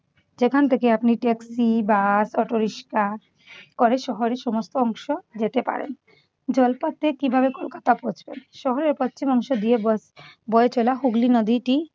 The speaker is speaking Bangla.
যেখান থেকে আপনি ট্যাক্সি, বাস, অটো রিকশা করে আপনি শহরের সমস্ত অংশ যেতে পারেন। জলপথ দিয়ে কিভাবে কলকাতা পৌঁছবেন? শহরের পশ্চিমাংশ দিয়ে বয় বয়ে চলা হুগলী নদীটি